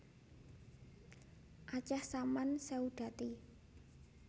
Aceh Saman Seudati